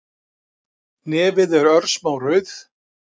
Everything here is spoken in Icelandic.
Nefið er örsmá rauð